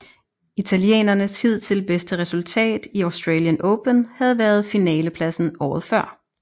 Italienernes hidtil bedste resultat i Australian Open havde været finalepladsen året før